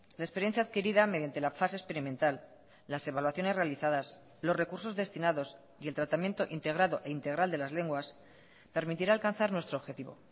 la experiencia adquirida mediante la fase experimental las evaluaciones realizadas los recursos destinados y el tratamiento integrado e integral de las lenguas permitirá alcanzar nuestro objetivo